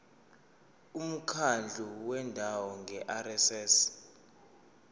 umkhandlu wendawo ngerss